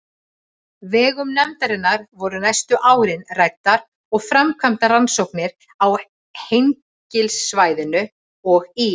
vegum nefndarinnar voru næstu árin ræddar og framkvæmdar rannsóknir á Hengilssvæðinu og í